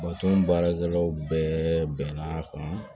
baarakɛlaw bɛɛ bɛnna a kan